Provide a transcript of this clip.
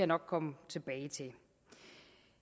nok komme tilbage til